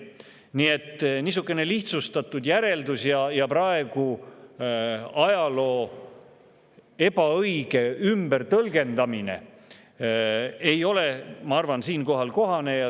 Nii et niisugune lihtsustatud järeldus ja ajaloo ebaõige tõlgendamine ei ole, ma arvan, siinkohal kohane.